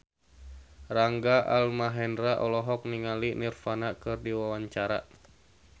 Rangga Almahendra olohok ningali Nirvana keur diwawancara